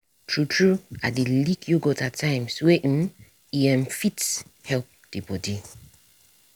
true true i dey lick yogurt at times wey um e um fit help the body.